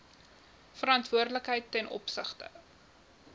verantwoordelikheid ten opsigte